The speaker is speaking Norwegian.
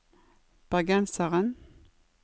bergenseren